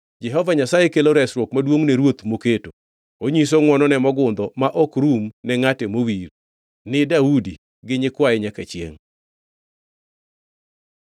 “Jehova Nyasaye kelo resruok maduongʼ ne ruoth moketo; onyiso ngʼwonone mogundho ma ok rum ne ngʼate mowir, ni Daudi gi nyikwaye nyaka chiengʼ.”